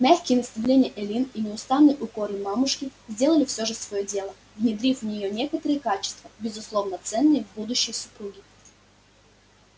мягкие наставления эллин и неустанные укоры мамушки сделали всё же своё дело внедрив в неё некоторые качества безусловно ценные в будущей супруге